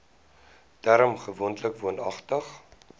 term gewoonlik woonagtig